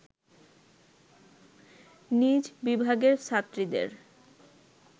নিজ বিভাগের ছাত্রীদের